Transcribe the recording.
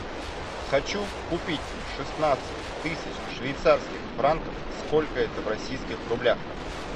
хочу купить шестнадцать тысяч швейцарских франков сколько это в российских рублях